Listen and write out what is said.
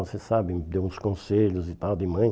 Você sabe, deu uns conselhos e tal de mãe.